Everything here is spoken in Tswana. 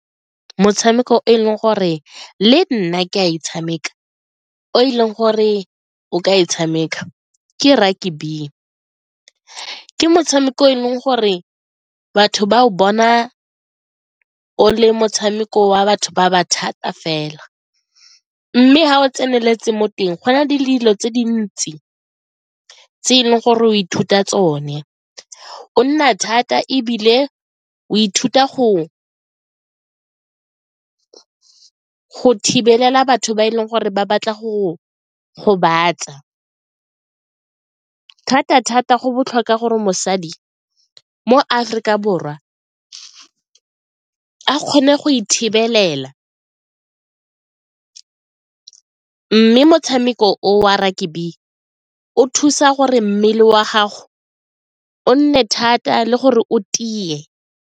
Motshameko e leng gore le nna ke a e tshameka o e leng gore o ka e tshameka ke rugby, ke motshameko e leng gore batho ba o bona o le motshameko wa batho ba ba thata fela mme ga o tseneletse mo teng go na le dilo tse dintsi tse e leng gore o ithuta tsone, o nna thata ebile o ithuta go thibelela batho ba e leng gore ba batla go gobatsa, thata-thata go botlhokwa gore mosadi mo Aforika Borwa a kgone go ithibelela mme motshameko o wa rugby o thusa gore mmele wa gago o nne thata le gore o tie.